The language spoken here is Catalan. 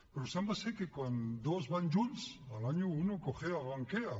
però sembla que quan dos van junts al año uno cojea o ranquea